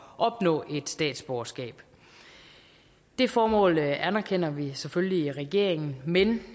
opnå et statsborgerskab det formål anerkender vi selvfølgelig i regeringen men